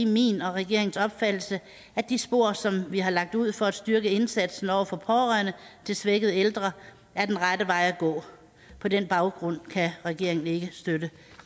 min og regeringens opfattelse at de spor som vi har lagt ud for at styrke indsatsen over for pårørende til svækkede ældre er den rette vej at gå på den baggrund kan regeringen ikke støtte